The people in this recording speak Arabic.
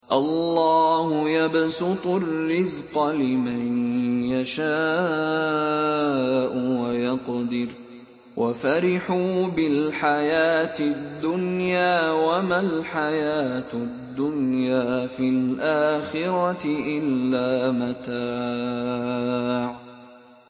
اللَّهُ يَبْسُطُ الرِّزْقَ لِمَن يَشَاءُ وَيَقْدِرُ ۚ وَفَرِحُوا بِالْحَيَاةِ الدُّنْيَا وَمَا الْحَيَاةُ الدُّنْيَا فِي الْآخِرَةِ إِلَّا مَتَاعٌ